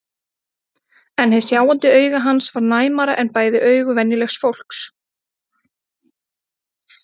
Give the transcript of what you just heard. En hið sjáandi auga hans var næmara en bæði augu venjulegs fólks.